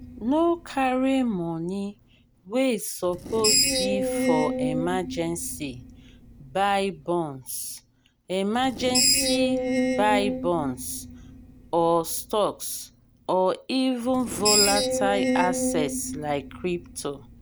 no carry money wey suppose be for emergency buy bonds emergency buy bonds or stocks or even volatile assets like crypto